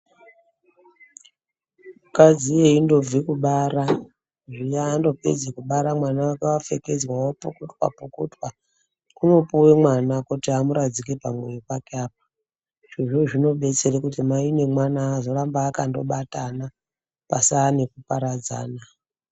Vakadzi veingobva Kubara zviya vangopedze kubara mwana wako wapfekedzwa vapukutwa pukutwa vanopiwa kuti vamuradzike pamwoyo pake apa izvozvo zvinoita kuti mai nemwana vagare vakabatana pasave nekuparadzana.